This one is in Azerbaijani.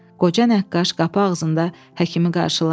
Qoca nəqqaş qapı ağzında həkimi qarşıladı.